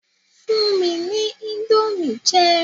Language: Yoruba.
Fún mi ní indomie jẹ